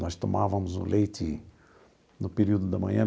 Nós tomávamos o leite no período da manhã.